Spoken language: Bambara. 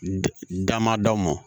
Dama daw mɔn